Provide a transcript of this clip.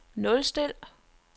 nulstil